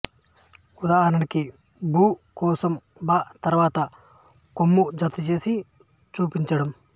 ఉదాహరణకి ఋ కోసం బ తరువాత కొమ్ము జతచేసి చూపించడం